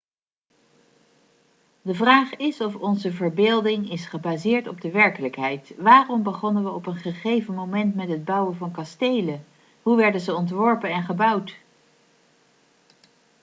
de vraag is of onze verbeelding is gebaseerd op de werkelijkheid waarom begonnen we op een gegeven moment met het bouwen van kastelen hoe werden ze ontworpen en gebouwd